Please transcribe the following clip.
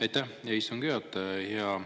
Aitäh, hea istungi juhataja!